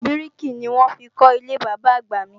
Bíríkì ni wọ́n fi kọ́ ilé Bàbá-àgbà mi